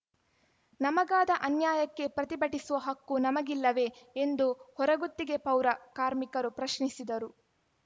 ನಮಗಾದ ಅನ್ಯಾಯಕ್ಕೆ ಪ್ರತಿಭಟಿಸುವ ಹಕ್ಕು ನಮಗಿಲ್ಲವೇ ಎಂದು ಹೊರಗುತ್ತಿಗೆ ಪೌರ ಕಾರ್ಮಿಕರು ಪ್ರಶ್ನಿಸಿದರು